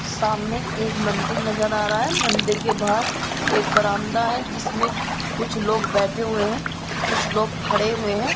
सामने एक मंदिर नज़र आ रहा है मंदिर के बाहर एक बारांदा है जिसमे कुछ लोग बैठे हुए है कुछ लोग खड़े हुए है।